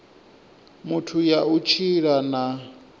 muthu ya u tshila na